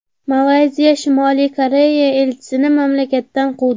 Malayziya Shimoliy Koreya elchisini mamlakatdan quvdi.